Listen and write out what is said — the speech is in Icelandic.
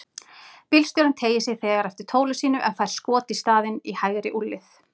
Bílstjórinn teygir sig þegar eftir tóli sínu en fær skot í staðinn, í hægri úlnlið.